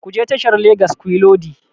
Ku je tashar Legas kuyi lodi!